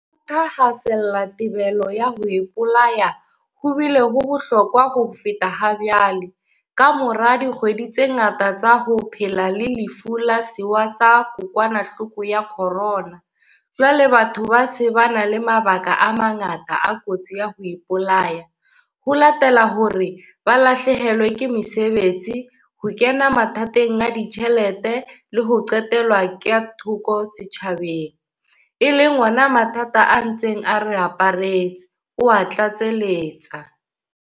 Ka thahasella thibelo ya ho ipolaya ho bile ho bohlokwa ho feta hajwale, kamora dikgwedi tse ngata tsa ho phela le Lefu la Sewa sa Kokwanahloko ya Corona, jwale batho ba se ba na le mabaka a mangata a kotsi ya ho ipolaya, ho latela hore ba lahlehelwe ke mesebetsi, ho kena mathateng a ditjhelete le ho qhelelwa ka thoko setjhabeng, e leng ona mathata a ntseng a re aparetse, o a tlatseletsa.